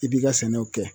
I b'i ka sɛnɛw kɛ